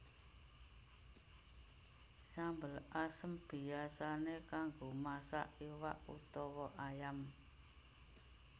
Sambel asem biyasané kanggo masak iwak utawa ayam